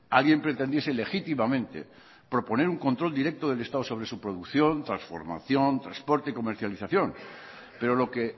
alguien pretendiese legítimamente proponer un control directo del estado sobre su producción transformación transporte y comercialización pero lo que